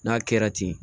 N'a kɛra ten